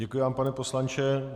Děkuji vám, pane poslanče.